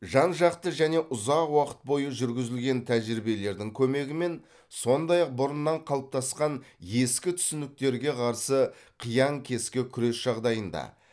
жан жақты және ұзақ уақыт бойы жүргізілген тәжірибелердің көмегімен сондай ақ бұрыннан қалыптасқан ескі түсініктерге қарсы қиян кескі күрес жағдайында